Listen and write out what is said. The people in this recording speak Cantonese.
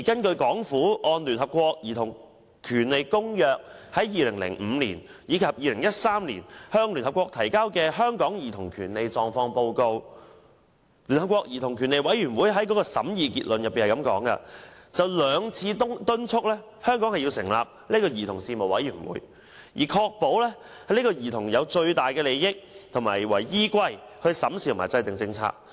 對政府按《公約》於2005年及2013年向聯合國提交有關香港兒童權利狀況的報告，聯合國兒童權利委員會在審議結論中就兩次敦促香港成立兒童事務委員會，以確保會以兒童最大利益為依歸審視和制訂政策。